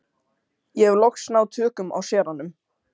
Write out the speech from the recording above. Ég hef loks náð tökum á séranum.